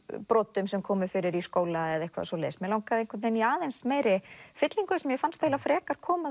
brotum sem komu fyrir í skóla eða eitthvað svoleiðis mig langaði í aðeins meiri fyllingu sem mér fannst frekar koma